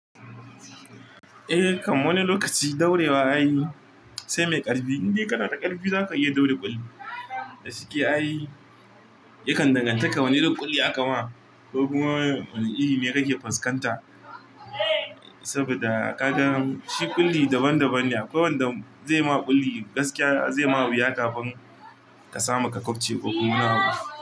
Eh, kamar wani lokaci daurewa ayi sai mai ƙarfi, indai kana da ƙarfi zaka iya daure ƙulli. Da suke ayi yakan danganta da wane irin ƙulli aka ma ko kuma wane iri ne kake fuskanta. Saboda a qaddaram shi ƙulli daban daban ne akwai wanda zai ma ƙulli gaskiya zai ma wuya kafin ka samu ka kwafce ko kuma na kwafi.